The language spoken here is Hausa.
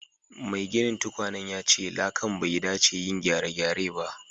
Maiginin tukwanen yace irin lakan bai dace yin gyare-gyare ba.